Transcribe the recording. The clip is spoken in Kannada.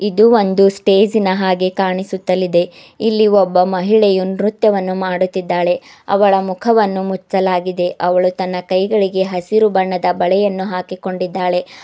ಇದು ಒಂದು ಸ್ಟೇಜಿನ ಹಾಗೆ ಕಾಣಿಸುತ್ತಲಿದೆ ಇಲ್ಲಿ ಒಬ್ಬ ಮಹಿಳೆ ನೃತ್ಯವನ್ನು ಮಾಡುತ್ತಿದ್ದಾಳೆ ಅವಳು ಮುಖವನ್ನು ಮುಚ್ಚಲಾಗಿದೆ ಅವಳು ತನ್ನ ಕೈಗಳಿಗೆ ಹಸಿರು ಬಣ್ಣದ ಬಳೆಯನ್ನು ಹಾಕಿಕೊಂಡಿದಳೆ.